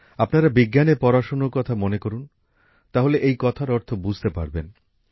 আপনারা বিজ্ঞানের পড়াশোনার কথা মনে করুন তাহলে এই কথার অর্থ আপনারা বুঝতে পারবেন